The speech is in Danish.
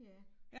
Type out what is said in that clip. Ja